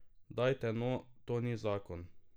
Dajte, no, to ni zakon.